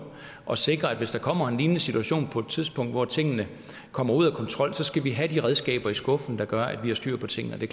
og sikre at hvis der kommer en lignende situation på et tidspunkt hvor tingene kommer ud af kontrol så skal vi have de redskaber i skuffen der gør at vi har styr på tingene og det